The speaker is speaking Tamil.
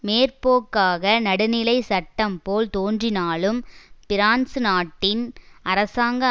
மேற்போக்காக நடுநிலை சட்டம்போல் தோன்றினாலும் பிரான்சு நாட்டின் அரசாங்க